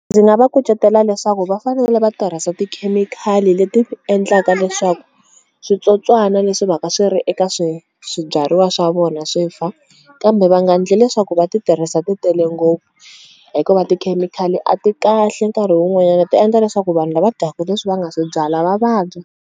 Ndzi nga va kucetela leswaku va fanerile va tirhisa tikhemikhali leti endlaka leswaku switsotswana leswi va ka swi ri eka swibyariwa swa vona swi fa kambe va nga endli leswaku va ti tirhisa ti tele ngopfu hikuva tikhemikhali a ti kahle nkarhi wun'wanyana ti endla leswaku vanhu lava dyaka leswi va nga swi byala va vabya.